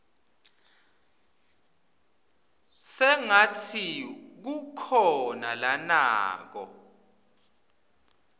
sengatsi kukhona lanako